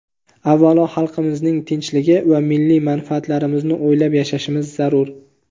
avvalo xalqimizning tinchligi va milliy manfaatlarimizni o‘ylab yashashimiz zarur.